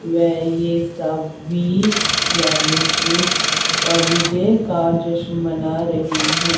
वे ये सब भी यानी कि विजय का जश्न मना रहे हैं।